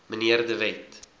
mnr de wet